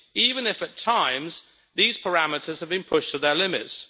even if at times, these parameters have been pushed to their limits.